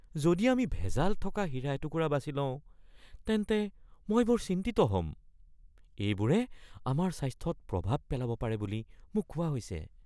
যদি আমি ভেজাল থকা হীৰা এটুকুৰা বাছি লওঁ তেন্তে মই বৰ চিন্তিত হ’ম। এইবোৰে আমাৰ স্বাস্থ্যত প্ৰভাৱ পেলাব পাৰে বুলি মোক কোৱা হৈছে।